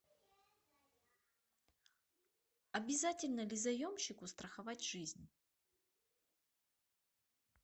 обязательно ли заемщику страховать жизнь